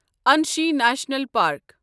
Anshi national park